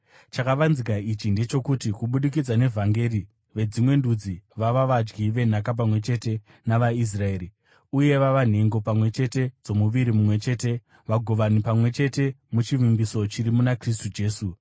Chakavanzika ichi ndechokuti, kubudikidza nevhangeri, veDzimwe Ndudzi vava vadyi venhaka pamwe chete navaIsraeri uye vava nhengo pamwe chete dzomuviri mumwe chete, vagovani pamwe chete muchivimbiso chiri muna Kristu Jesu.